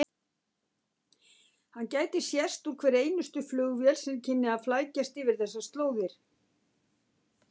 Hann gæti sést úr hverri einustu flugvél sem kynni að flækjast yfir þessar slóðir.